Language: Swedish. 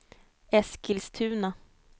Eskilstuna